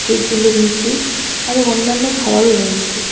কেকগুলো নীচে আরও অন্যান্য খাওয়ারও রয়েছে।